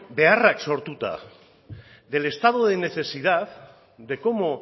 beharrak sortuta del estado de necesidad de cómo